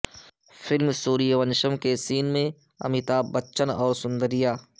film Suryavansham کے سین میں امیتابھ بچن اور سوندریا